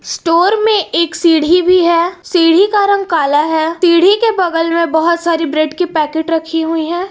Store में एक सीढ़ी भी है सीढ़ी का रंग काला है सीढ़ी के बगल में बहुत सारी ब्रेड के पैकेट रखी हुई हैं।